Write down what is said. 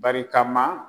Barikama